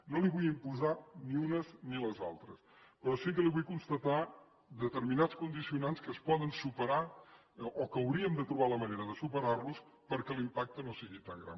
no li vull imposar ni unes ni les altres però sí que li vull constatar determinats condicionants que es poden superar o que hauríem de trobar la manera de superar los perquè l’impacte no sigui tan gran